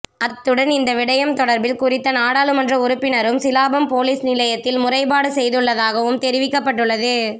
அத்துடன் இந்த விடயம் தொடர்பில் குறித்த நாடாளுமன்ற உறுப்பினரும் சிலாபம் பொலிஸ் நிலையத்தில் முறைபாடு செய்துள்ளதாகவும் தெரிவிக்கப்பட்டுள்ளது